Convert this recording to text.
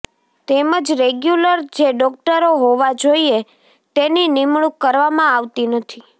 તેમજ રેગ્યુલર જે ડોક્ટરો હોવા જોઈએ તેની નિમણૂંક કરવામાં આવતી નથી